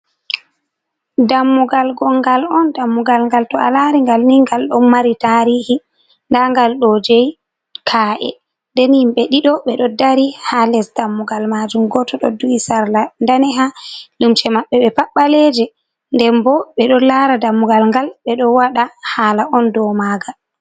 Dammugal gongal on dammugal gal to'a lari gal ni gal don mari tarihi, ndangal do jei ka’e, den himbe dido be do dari ha les dammugal majum, goto do du’i sarla daneha lumce mabbe be pat baleje den bo bedo lara dammugal ngal be do wada hala on do magal.